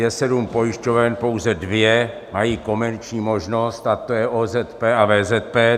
Je sedm pojišťoven, pouze dvě mají komerční možnost, a to je OZP a VZP.